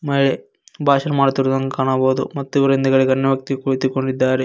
ಮಹಿಳೆ ಭಾಷಣ ಮಾಡುತ್ತಿರುವುದನ್ನು ಕಾಣಬಹುದು ಮತ್ತು ಇವರ ಹಿಂದೆ ಗಣ್ಯವ್ಯಕ್ತಿಗಳು ಕುಳಿತುಕೊಂಡಿದ್ದರೆ.